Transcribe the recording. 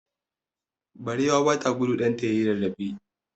Barewa ba ta gudu ɗanta ya yi rarrafe.